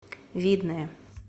видное